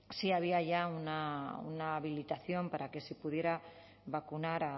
sí había ya una habilitación para que se pudiera vacunar